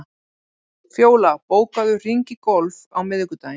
Fjóla, bókaðu hring í golf á miðvikudaginn.